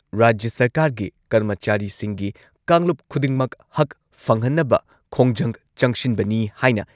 ꯔꯥꯖ꯭ꯌ ꯁꯔꯀꯥꯔꯒꯤ ꯀꯔꯃꯆꯥꯔꯤꯁꯤꯡꯒꯤ ꯀꯥꯡꯂꯨꯞ ꯈꯨꯗꯤꯡꯃꯛ ꯍꯛ ꯐꯪꯍꯟꯅꯕ ꯈꯣꯡꯖꯪ ꯆꯪꯁꯤꯟꯕꯅꯤ ꯍꯥꯏꯅ